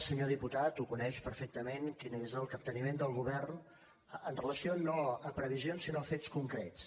senyor diputat ho coneix perfectament quin és el capteniment del govern amb relació no a previsions sinó a fets concrets